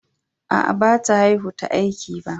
Aa, ba ta haihu ta aiki ba.